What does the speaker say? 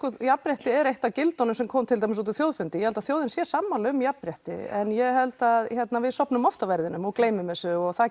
jafnrétti er eitt af gildunum sem komu fram út úr þjóðfundi ég held að þjóðin sé sammála um jafnrétti en ég held að við sofnum oft á verðinum og gleymum þessu og það